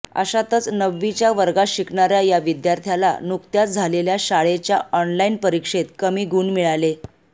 अशातच नववीच्या वर्गात शिकणाऱ्या या विद्यार्थ्याला नुकत्याच झालेल्या शाळेच्या ऑनलाईन परीक्षेत कमी गुण मिळाले